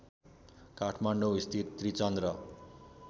काठमाडौँस्थित Trichandra